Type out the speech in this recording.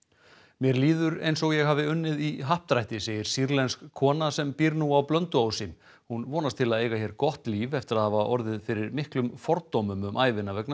mér líður eins og ég hafi unnið í happdrætti segir sýrlensk kona sem býr nú á Blönduósi hún vonast til að eiga hér gott líf eftir að hafa orðið fyrir miklum fordómum um ævina vegna